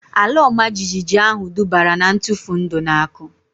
Ala ọma jijiji ahu dubara na ntufu ndụ na akụ